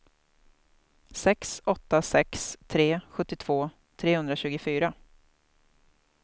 sex åtta sex tre sjuttiotvå trehundratjugofyra